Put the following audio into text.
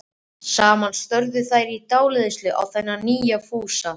Saman störðu þær í dáleiðslu á þennan nýja Fúsa.